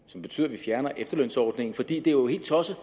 som betyder at vi fjerner efterlønsordningen for det er jo helt tosset